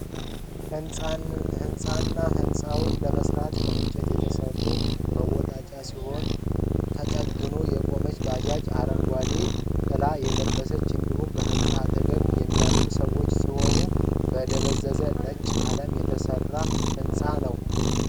ህንፃና ህንፃዉን ለመስራት ከንጨት የተሠራ መወጣጫ ሲሆን ተጠግታ የቆመች ባጃጅና አረንጎዴ ጥላ የለበሠ እንዲሁም በህንፃው አጠገብ የሚያልፉ ሠዎች ሲሆኑ በ ደበዘዘ ነጭ ቀለም የተሠራ ህንፃ ነዉ